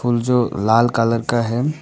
फूल जो लाल कलर का है।